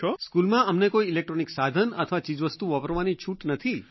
સ્કૂલમાં અમને કોઇ ઇલેક્ટ્રોનિક સાધન અથવા ચીજવસ્તુ વાપરવાની છુટ નથી